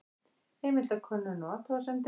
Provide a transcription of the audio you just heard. Heimildakönnun og athugasemdir.